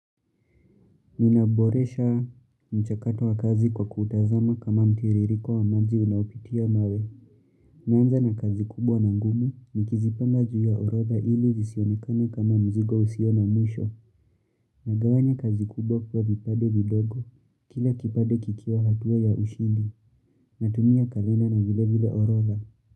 Ninaboresha mchakato wa kazi kwa kutazama kama mtiririko wa maji unaopitia mawe. Naanza na kazi kubwa na ngumu, nikizipanga juu ya orodha ili zisionekane kama mzigo usio na mwisho. Nagawanya kazi kubwa kuwa vipande vidogo, kila kipande kikiwa hatua ya ushindi, natumia kalenda na vile vile orodha.